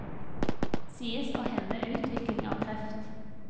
Sies å hemme utvikling av kreft.